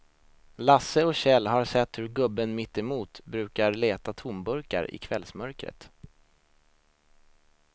Lasse och Kjell har sett hur gubben mittemot brukar leta tomburkar i kvällsmörkret.